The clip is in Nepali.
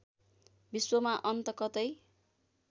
विश्वमा अन्त कतै